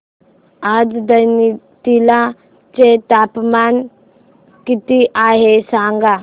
आज नैनीताल चे तापमान किती आहे सांगा